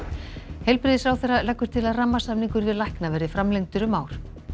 heilbrigðisráðherra leggur til að rammasamningur við lækna verði framlengdur um ár